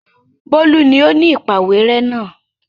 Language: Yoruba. Bólú ni ó ni ìpàwérẹ́ náà.